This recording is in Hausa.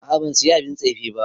A'a ban Siya abin tsefe ba.